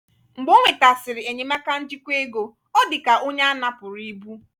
mgbe ọ nwetasịrị enyemaka njikwa ego ọ dịka onye a napụrụ ibu.